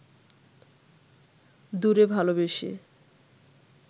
দূরে ভালবেসে